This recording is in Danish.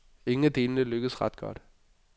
Ingen af delene lykkes ret godt.